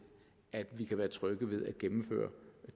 at vi kan være trygge ved at gennemføre